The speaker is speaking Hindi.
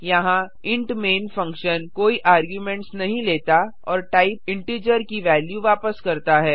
यहाँ इंट मैन फंक्शन कोई आर्गुमेंट्स नहीं लेता और टाइप इंटिजर की वेल्यू वापस करता है